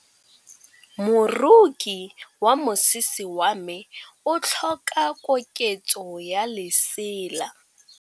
Moroki wa mosese wa me o tlhoka koketsô ya lesela.